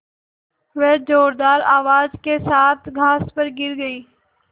वह ज़ोरदार आवाज़ के साथ घास पर गिर गई